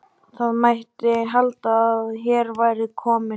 Það mætti halda að hér væri kominn